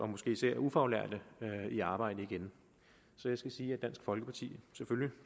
måske især ufaglærte i arbejde igen så jeg skal sige at dansk folkeparti selvfølgelig